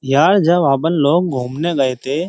यार जब अपन लोग घूमने गए थे --